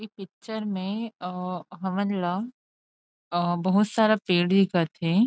ए picture अ में हमन ला अ बहुत सारा पेड़ दिखत थे।